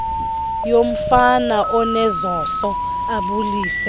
yomfana onezoso abulise